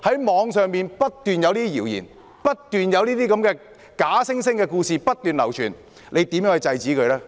網上不斷有謠言和假故事流傳，司長會如何制止呢？